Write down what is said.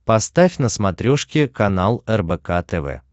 поставь на смотрешке канал рбк тв